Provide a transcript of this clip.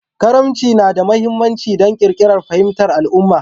Karimci yana da mahimmanci don ƙirƙirar fahimtar al'umma